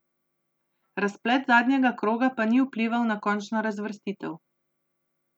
Razplet zadnjega kroga pa ni vplival na končno razvrstitev.